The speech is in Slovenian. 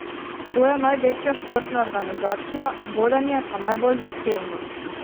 To je največja športna organizacija, vodenje pa najbolj zahtevno.